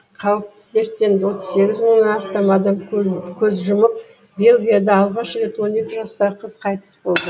қауіпті дерттен отыз сегіз мыңнан астам адам көз жұмып бельгияда алғаш рет он екі жастағы қыз қайтыс болды